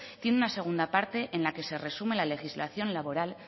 tienen una segunda parte en la que se resume la legislación laboral